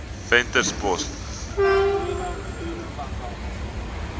venterspost